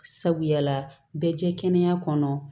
Sabu yala bɛ jɛ kɛnɛya kɔnɔ